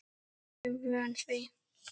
Var ég vön því?